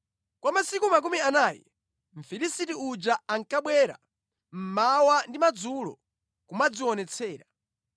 Kwa masiku makumi anayi, Mfilisiti uja ankabwera mmawa ndi madzulo kumadzionetsera.